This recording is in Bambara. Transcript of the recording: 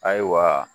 Ayiwa